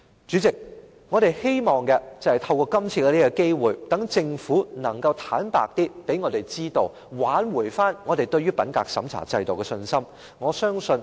主席，我們希望透過今次的機會，使政府能夠向我們坦白，挽回我們對於品格審查制度的信心。